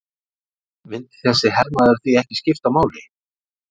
Myndi þessi hermaður því ekki skipta máli?